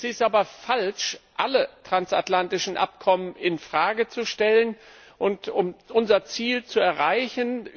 Es ist aber falsch, alle transatlantischen Abkommen in Frage zu stellen, um unser Ziel zu erreichen.